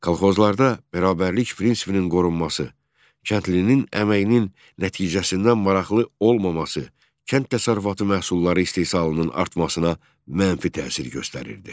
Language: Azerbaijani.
Kolxozlarda bərabərlik prinsipinin qorunması, kəndlinin əməyinin nəticəsindən maraqlı olmaması kənd təsərrüfatı məhsulları istehsalının artmasına mənfi təsir göstərirdi.